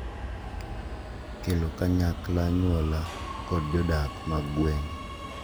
Kelo kanyakla anyuola kod jodak mag gwenge